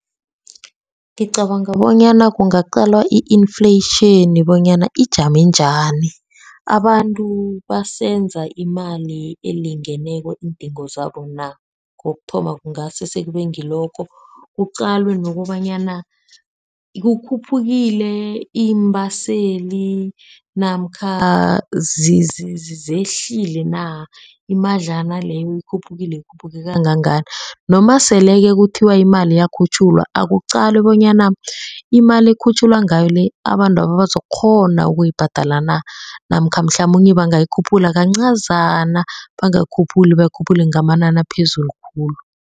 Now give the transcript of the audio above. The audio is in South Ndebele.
Ngicabanga bonyana kungaqalwa i-inflation bonyana ijame njani. Abantu basenza imali elingeneko iindingo zabo na, kokuthoma kungasesekube ngilokho. Kuqalwe nokobanyana kukhuphukile iimbaseli namkha zehlile na. Imadlana leyo ikhuphukile, ikhuphuke kangangani noma sele-ke kuthiwa imali iyakhutjhulwa akuqalwe bonyana imali ekukhutjhululwa ngayo le abantwaba bazokukghona ukuyibhadala na, namkha mhlamunye bangayikhuphula kancazana bangakhuphuli bakhuphule ngamanani aphezulu khulu.